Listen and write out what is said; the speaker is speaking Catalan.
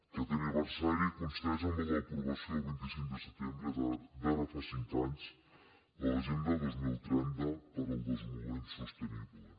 aquest aniversari coincideix amb l’aprovació el vint cinc de setembre d’ara fa cinc anys de l’agenda dos mil trenta per al desenvolupament sostenible